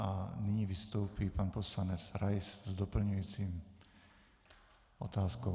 A nyní vystoupí pan poslanec Rais s doplňující otázkou.